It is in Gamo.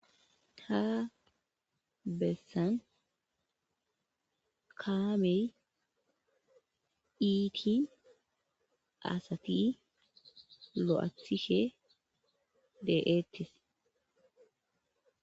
ta bessan kaamey iiti asati lo'athishe de'eettes